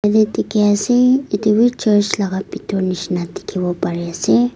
yate dikhi ase etu wi church laga bitor nishina dikhiwo pari ase.